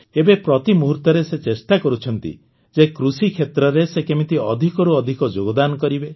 ଏବେ ପ୍ରତିମୁହୂର୍ତ୍ତରେ ସେ ଚେଷ୍ଟା କରୁଛନ୍ତି ଯେ କୃଷିକ୍ଷେତ୍ରରେ ସେ କେମିତି ଅଧିକରୁ ଅଧିକ ଯୋଗଦାନ କରିବେ